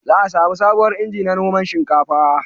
Za a samu sabuwar inji na noman shinkafa